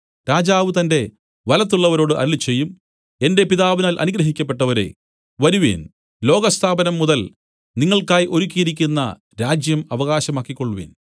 രാജാവ് തന്റെ വലത്തുള്ളവരോട് അരുളിച്ചെയ്യും എന്റെ പിതാവിനാൽ അനുഗ്രഹിക്കപ്പെട്ടവരേ വരുവിൻ ലോകസ്ഥാപനം മുതൽ നിങ്ങൾക്കായി ഒരുക്കിയിരിക്കുന്ന രാജ്യം അവകാശമാക്കിക്കൊൾവിൻ